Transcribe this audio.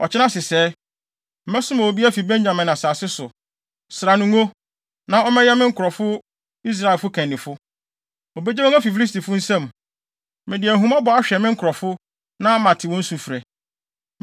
“Ɔkyena sesɛɛ, mɛsoma obi afi Benyamin asase so. Sra no ngo, na ɔmmɛyɛ me nkurɔfo Israelfo kannifo. Obegye wɔn afi Filistifo nsam. Mede ahummɔbɔ ahwɛ me nkurɔfo, na mate wɔn sufrɛ.”